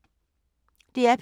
DR P2